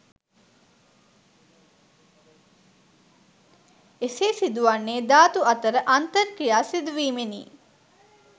එසේ සිදුවන්නේ ධාතු අතර අන්තර් ක්‍රියා සිදුවීමෙනි